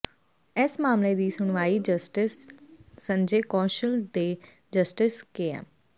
ਇਸ ਮਾਮਲੇ ਦੀ ਸੁਣਵਾਈ ਜਸਟਿਸ ਸੰਜੇ ਕੌਸ਼ਲ ਤੇ ਜਸਟਿਸ ਕੇਐੱਮ